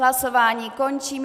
Hlasování končím.